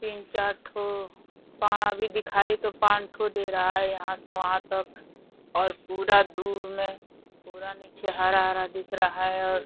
तीन चार ठो पाड़ा भी दिखाई तो पान ठो दे रहा यहाँ से वहाँ तक और पूरा दूर में पूरा नीचे हरा हरा दिख रहा है और --